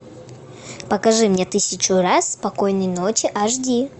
покажи мне тысячу раз спокойной ночи аш ди